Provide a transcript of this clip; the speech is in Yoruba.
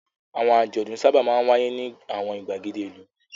Àwọn àjọ̀dún sábà máa ń wáyé ní àwọn ìgbàgede ìlú.